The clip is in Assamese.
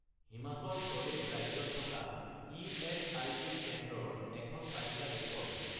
হিমাচল প্ৰদেশ ৰাজ্যত থকা ইএচআইচি কেন্দ্ৰৰ এখন তালিকা দেখুৱাওক